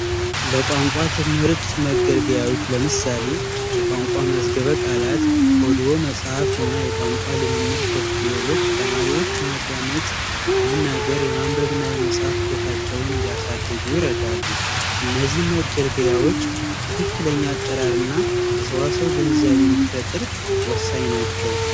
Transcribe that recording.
ለቋንቋ ትምህርት መገልጋያዎች ለምሳሌ የቋንቋ መዝገበ ቃላት ኦዲዮ መጻፍትና የቋንቋ ልምምድ ሶፍትዌሮች ተማሪዎች የማዳመጥ የመናገርና የማንበብ እና የመጽሐፍ ችሎታቸውን እንዲያሳድጉ ይረዳሉ። እነዚህ መገልገያዎች ትክክለኛ አጠራርና የሰዋሰው ግንዛቤ እንዲፈጥር ወሳኝ ናቸው።